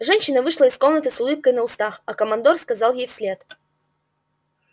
женщина вышла из комнаты с улыбкой на устах а командор сказал ей вслед